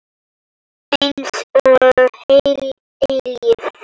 Einsog heil eilífð.